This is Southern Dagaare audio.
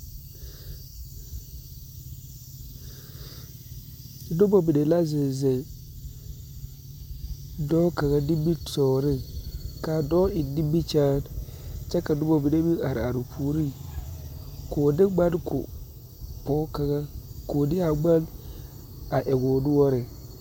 Noba mine la zeŋ zeŋ dɔɔ kaŋ nimitɔɔreŋ k,a dɔɔ eŋ nimikyaane kyɛ ka noba mine meŋ are are o puoriŋ k,o de ŋmane ko dɔɔ kaŋa k,o de a ŋmane a eŋ o noɔreŋ.